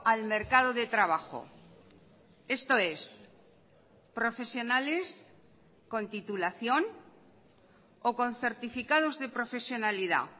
al mercado de trabajo esto es profesionales con titulación o con certificados de profesionalidad